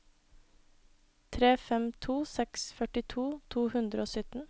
tre fem to seks førtito to hundre og sytten